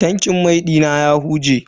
Tankin man mashin dina ya huje.